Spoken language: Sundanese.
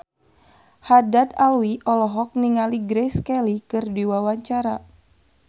Haddad Alwi olohok ningali Grace Kelly keur diwawancara